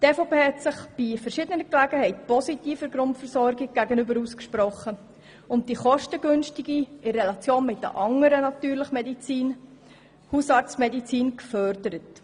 Sie hat sich bei verschiedenen Gelegenheiten positiv zur Grundversorgung geäussert und die Hausarztmedizin als vergleichsweise kostengünstige Medizin gefördert.